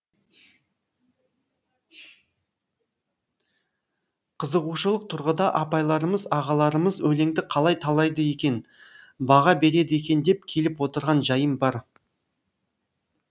қызығушылық тұрғыда апайларымыз ағаларымыз өлеңді қалай талдайды екен баға береді екен деп келіп отырған жайым бар